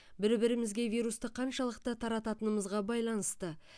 бір бірімізге вирусты қаншалықты тарататынымызға байланысты